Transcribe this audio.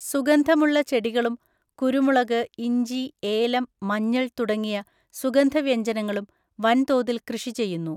സുഗന്ധമുള്ള ചെടികളും കുരുമുളക്, ഇഞ്ചി, ഏലം, മഞ്ഞൾ തുടങ്ങിയ സുഗന്ധവ്യഞ്ജനങ്ങളും വൻതോതിൽ കൃഷി ചെയ്യുന്നു.